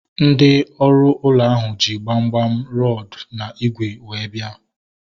Ndị ọrụ ụlọ ahu ji gbamgbam, rọdu na ígwè wee bia